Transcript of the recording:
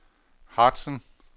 Harzen